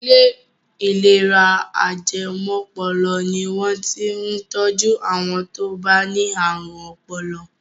Ilé ìlera ajẹmọ́pọlọ ni wọ́n ti ń tọjú àwọn tó bá ní ààrùn ọpọlọ.